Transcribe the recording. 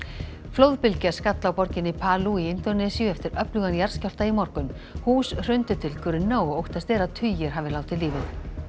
flóðbylgja skall á borginni Palu í Indónesíu eftir öflugan jarðskjálfta í morgun hús hrundu til grunna og óttast er að tugir hafi látið lífið